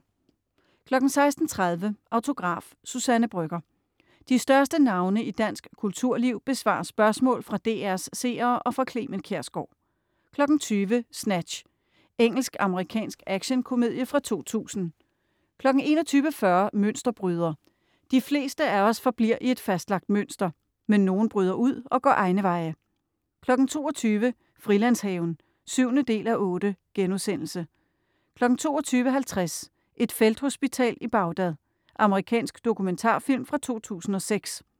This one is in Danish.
16.30 Autograf: Suzanne Brøgger. De største navne i dansk kulturliv besvarer spørgsmål fra DR's seere og fra Clement Kjersgaard 20.00 Snatch. Engelsk-amerikansk actionkomedie fra 2000 21.40 Mønsterbryder. De fleste af os forbliver i et fastlagt mønster, Men nogle bryder ud og går egne veje 22.00 Frilandshaven 7:8* 22.50 Et felthospital i Bagdad. Amerikansk dokumentarfilm fra 2006